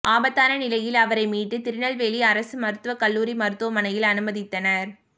ஆபத்தான நிலையில் அவரை மீட்டு திருநெல்வேலி அரசு மருத்துவக் கல்லூரி மருத்துவமனையில் அனுமதித்தனா்